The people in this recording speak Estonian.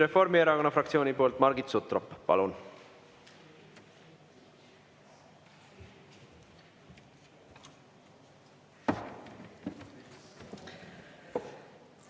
Reformierakonna fraktsiooni poolt Margit Sutrop, palun!